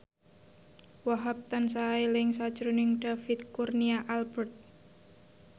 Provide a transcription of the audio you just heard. Wahhab tansah eling sakjroning David Kurnia Albert